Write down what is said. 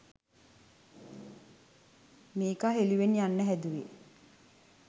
මේකා හෙළුවෙන් යන්න හැදුවේ